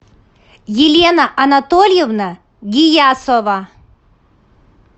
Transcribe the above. елена анатольевна гиясова